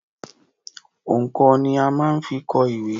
Òǹkọ̀ ni a máa ń fi kọ ìwé.